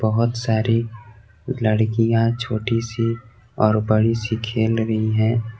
बहोत सारी लड़कियां छोटी सी और बड़ी सी खेल रही है।